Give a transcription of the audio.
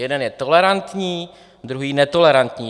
Jeden je tolerantní, druhý netolerantní.